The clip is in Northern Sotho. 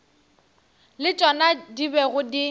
le tšona di bego di